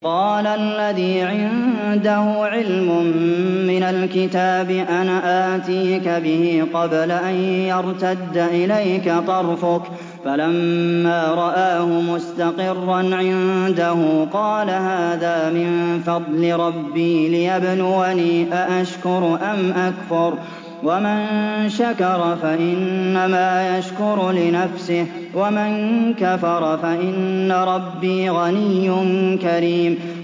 قَالَ الَّذِي عِندَهُ عِلْمٌ مِّنَ الْكِتَابِ أَنَا آتِيكَ بِهِ قَبْلَ أَن يَرْتَدَّ إِلَيْكَ طَرْفُكَ ۚ فَلَمَّا رَآهُ مُسْتَقِرًّا عِندَهُ قَالَ هَٰذَا مِن فَضْلِ رَبِّي لِيَبْلُوَنِي أَأَشْكُرُ أَمْ أَكْفُرُ ۖ وَمَن شَكَرَ فَإِنَّمَا يَشْكُرُ لِنَفْسِهِ ۖ وَمَن كَفَرَ فَإِنَّ رَبِّي غَنِيٌّ كَرِيمٌ